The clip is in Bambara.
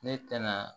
Ne tɛna